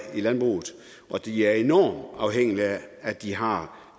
og de er enormt afhængige af at de har